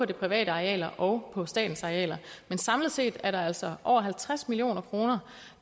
de private arealer og på statens arealer men samlet set er der altså over halvtreds million kroner